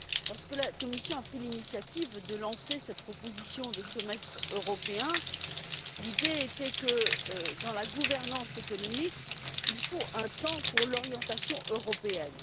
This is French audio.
Lorsque la Commission a pris l'initiative de lancer cette proposition de semestre européen, l'idée était que, dans la gouvernance économique, il faut un temps pour l'orientation européenne.